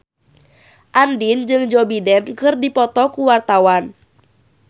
Andien jeung Joe Biden keur dipoto ku wartawan